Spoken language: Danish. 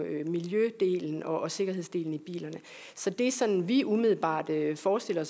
miljødelen og sikkerhedsdelen i bilerne så det er sådan vi umiddelbart forestiller